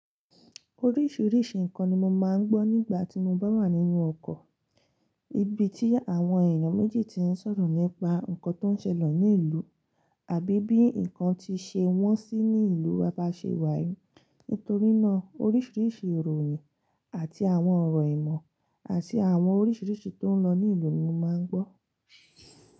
Oríṣiríṣi ǹkan ni mo máa ń gbọ́ nígbà tí mo bá wà nínú ọkọ̀. Ibi tí àwọn èèyàn méjì ti ń sọ̀rọ̀ nípa nǹkan tó ń ṣẹlẹ̀ ní ìlú àbí bí ǹkan ti ṣe wọ́n sí ní ìlú wa bá ṣe wá yi. Nítorí náà, oríṣiríṣi ìròyìn àti àwọn ọ̀rọ̀ ìmọ̀ àti àwọn oríṣiríṣi tó ń lọ ní ìlú ni mo máa ń gbọ́.